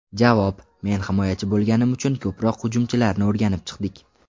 Javob: Men himoyachi bo‘lganim uchun ko‘proq hujumchilarni o‘rganib chiqdik.